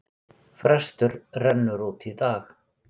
Frestur rennur út í dag.